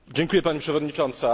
Pani Przewodnicząca!